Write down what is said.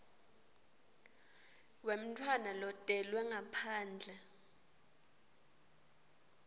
wemntfwana lotelwe ngaphandle